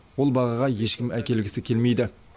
ол бағаға ешкім әкелгісі келмейді